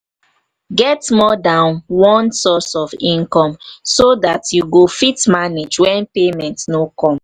get more than more than one source of income so dat you go fit manage when payment no come